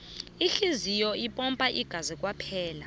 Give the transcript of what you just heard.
ihliziyo ipompa ingazi kwaphela